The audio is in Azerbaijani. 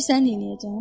Bilirsən neyləyəcəm?